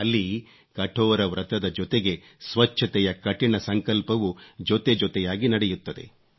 ಅಲ್ಲಿ ಕಠೋರ ವ್ರತದ ಜೊತೆಗೆ ಸ್ವಚ್ಚತೆಯ ಕಠಿಣ ಸಂಕಲ್ಪವೂ ಜೊತೆಜೊತೆಯಾಗಿ ನಡೆಯುತ್ತದೆ